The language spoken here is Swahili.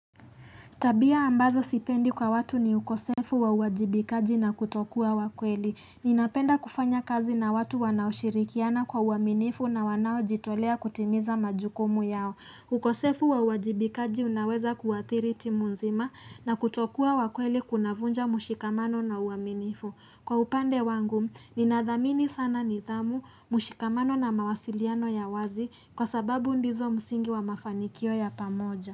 Tabia ambazo sipendi kwa watu ni ukosefu wa uajibikaji na kutokuwa wakweli. Ninapenda kufanya kazi na watu wanaoshirikiana kwa uaminifu na wanaojitolea kutimiza majukumu yao. Ukosefu wa uajibikaji unaweza kuathiri timu nzima na kutokuwa wakweli kunavunja mshikamano na uaminifu. Kwa upande wangu, ninathamini sana nithamu, mshikamano na mawasiliano ya wazi kwa sababu ndizo msingi wa mafanikio ya pamoja.